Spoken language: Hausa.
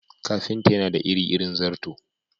Ƙafintan yana da iri-irin zarto.